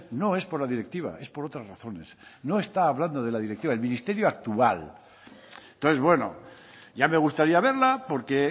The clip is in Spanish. no es por la directiva es por otras razones no está hablando de la directiva el ministerio actual entonces bueno ya me gustaría verla porque